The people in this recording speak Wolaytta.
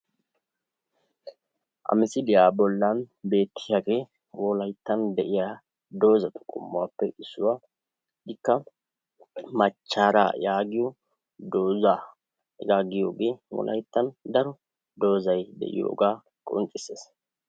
Ha misiliyaa bollan de'iyagee wolayittan de'iya dozatu qommuwappe issuwa. Ikka machchaaraa yaagiyo doza . Hegaa giyogee wolayittan daro dozay de'iyogaa qonccisses.